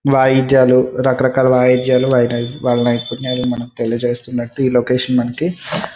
వాయిద్యాలు రకరకాల వాయిద్యాలు వాలా నైపున్నలు మనకు తెలియజేస్తున్నట్లు ఈ లొకేషన్ మనకి--